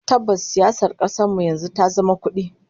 Tabbas, siyasar kasar mu yanzu ta zama ta kudi